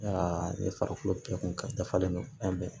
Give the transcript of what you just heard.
ne farikolo kɛ kun dafalen don fɛn bɛɛ